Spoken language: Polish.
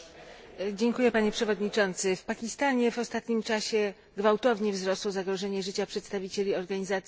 W Pakistanie w ostatnim czasie gwałtownie wzrosło zagrożenie życia przedstawicieli organizacji humanitarnych.